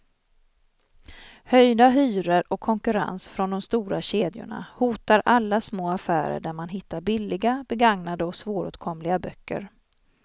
Höjda hyror och konkurrens från de stora kedjorna hotar alla små affärer där man hittar billiga, begagnade och svåråtkomliga böcker.